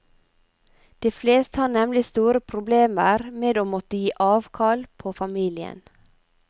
De fleste har nemlig store problemer med å måtte gi avkall på familien.